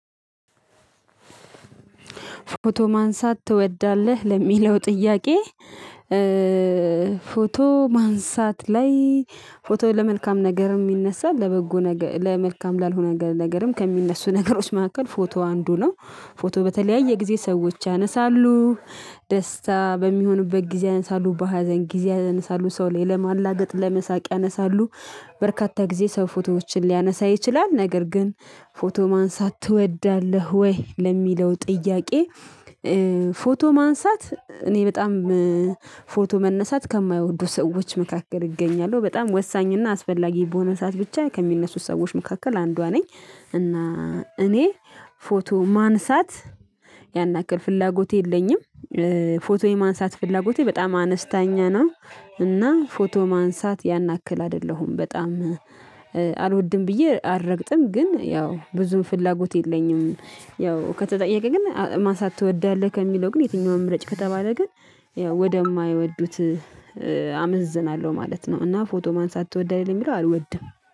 ፎቶ ማንሳት ትወዳለህ ለሚለው ጥያቄ? ፎቶ ማንሳት ላይ ፎቶ ለመልካም ነገርም ይነሳል ለበጎ ነገር ለመልካም ላልሆነ ነገርም ከሚነሱ ነገሮች መካከል ፎቶ አንዱ ነው። ፎቶ በተለያየ ጊዜ ሰዎች ያነሳሉ ደስታ በሚሆንበት ጊዜ ያነሳሉ በሀዘን ጊዜ ያነሳሉ ሰው ላይ ለማላገጥ ለመሳቅ ያነሳሉ። በርካታ ጊዜ ሰው ፎቶዎችን ሊያነሳ ይችላል። ነገር ግን ፎቶ ማንሳት ትወዳለህ ወይ ለሚለው ጥያቄ? ፎቶ ማንሳት እኔ በጣም ፎቶ መነሳት ከማይወዱ ሰዎች መካከል ይገኛሉ በጣም ወሳኝ እና አስፈላጊ በሆነ ሰዓት ብቻ ከሚነሱት ሰዎች መካከል አንዷ ነኝ። እና እኔ ፎቶ ማንሳት ያን ያክል ፍላጎት የለኝም። ፎቶ የማንሳት ፍላጎቴ በጣም አነስተኛ ነው። እና ፎቶ ማንሳት ያን ያክል አይደለሁም በጣም አልወድም ብዬ አረግጥም ግን ያው ብዙም ፍላጎት የለኝም። ያው ከተጠየቀ ግን ማሳት ትወዳለህ ከሚለው ግን የትኛው ምረጪ ከተባለ ግን ያው ወደ ማይወዱት አመዝናለሁ ማለት ነው። እና ፎቶ ማንሳት ትወዳለህ ለሚለው አልወድም